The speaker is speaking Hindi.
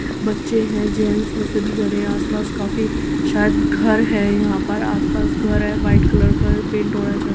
बच्चे हैं जेन्स हैंसभी खड़ें है आसपास काफी शायद घर है यहाँ पर आसपास घर है वाइट कलर का पेंट हो रहा है--